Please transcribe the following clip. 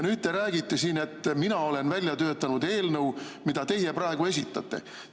Nüüd te räägite siin, et mina olen välja töötanud eelnõu, mida teie praegu esitate.